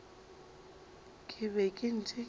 ke be ke ntše ke